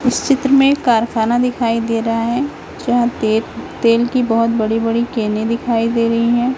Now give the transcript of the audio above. इस चित्र में कारखाना दिखाई दे रहा है जहां ते तेल की बहोत बड़ी बड़ी केने दिखाई दे रही है।